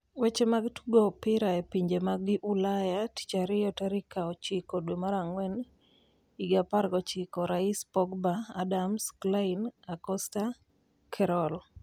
Weche mag Tugo Opira e Pinje mag Ulaya Tich Ariyo tarik 09.04.19: Rais, Pogba, Adams, Clyne, Akosta, Kerroll